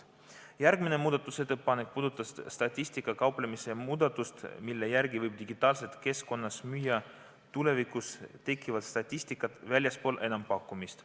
Järgmine muudatusettepanek puudutas statistikaga kauplemise muudatust, mille järgi võib digitaalses keskkonnas müüa tulevikus tekkivat statistikat väljaspool enampakkumist.